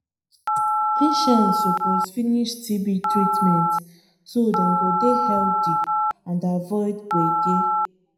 patients suppose finish tb treatment so dem go dey healthy and avoid gbege.